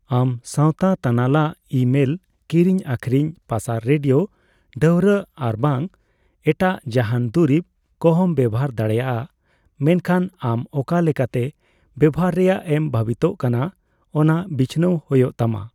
ᱟᱢ ᱥᱟᱣᱛᱟ ᱛᱟᱱᱟᱞᱟ, ᱤᱼᱢᱮᱹᱞ ᱠᱤᱨᱤᱧ ᱟᱹᱠᱷᱨᱤᱧ ᱯᱟᱥᱟᱨ, ᱨᱮᱰᱤᱭᱳ ᱰᱷᱟᱹᱣᱨᱟᱹᱜ ᱟᱨᱵᱟᱝ ᱮᱴᱟᱜ ᱡᱟᱦᱟᱱ ᱫᱩᱨᱤᱵ ᱠᱚᱦᱚᱸᱢ ᱵᱮᱣᱦᱟᱨ ᱫᱟᱲᱮᱭᱟᱜᱼᱟ, ᱢᱮᱱᱠᱷᱟᱱ ᱟᱢ ᱚᱠᱟ ᱞᱮᱠᱟᱛᱮ ᱵᱮᱣᱦᱟᱨ ᱨᱮᱭᱟᱜ ᱮᱢ ᱵᱷᱟᱹᱵᱤᱛᱚᱜ ᱠᱟᱱᱟ ᱚᱱᱟ ᱵᱤᱪᱷᱱᱟᱹᱣ ᱦᱳᱭᱳᱜ ᱛᱟᱢᱟ ᱾